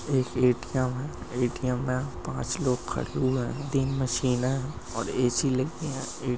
एक ए_टी_एम है ए_टी_एम में पाच लोग खड़े हुए है तीन मशीने है और ए_सी लगी है ए--